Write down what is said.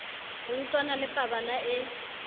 ho utlwana le pabala e